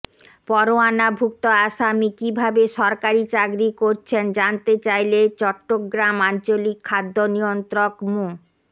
পরোয়ানাভুক্ত আসামি কিভাবে সরকারি চাকরি করছেন জানতে চাইলে চট্টগ্রাম আঞ্চলিক খাদ্য নিয়ন্ত্রক মো